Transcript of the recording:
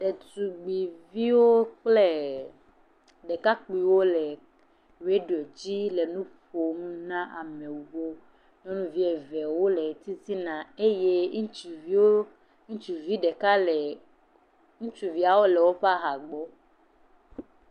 Ɖetugbuiviwo kple ɖekakpuiviwo wole radio dzi le nuƒom na amewo. Nyɔnuvi eve wole titina eye ŋutsuviwo, ŋutsuvia ɖeka le, ŋutsuviwo le woƒe aha gbɔ.